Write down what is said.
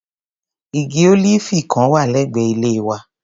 Igi ólíífì kan wà lẹ́gbẹ̀ẹ́ ilé wa.